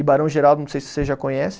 E Barão Geraldo, não sei se você já conhece,